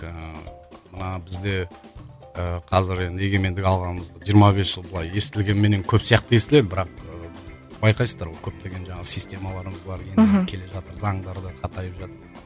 ыыы мына бізде ыыы қазір енді егемендік алғанымыз жиырма бес жыл былай естілгенменен көп сияқты естіледі бірақ ыыы байқайсыздар ғой көптеген жаңағы системаларымыз бар мхм келе жатыр заңдар да қатайып жатыр